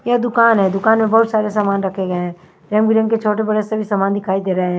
यह दुकान है दुकान में बहोत सारे सामान रखे गए हैं रंग बिरंगे छोटे बड़े सभी सामान दिखाई दे रहे हैं।